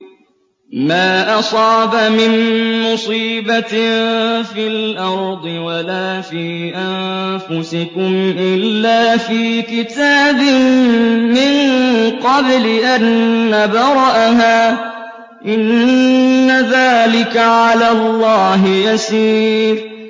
مَا أَصَابَ مِن مُّصِيبَةٍ فِي الْأَرْضِ وَلَا فِي أَنفُسِكُمْ إِلَّا فِي كِتَابٍ مِّن قَبْلِ أَن نَّبْرَأَهَا ۚ إِنَّ ذَٰلِكَ عَلَى اللَّهِ يَسِيرٌ